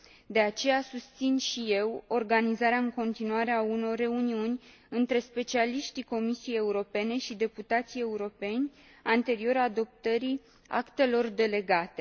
De aceea, susțin și eu organizarea în continuare a unor reuniuni între specialiștii Comisiei Europene și deputații europeni, anterior adoptării actelor delegate.